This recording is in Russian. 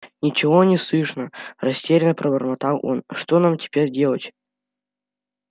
ничего не слышно растерянно пробормотал он что нам теперь делать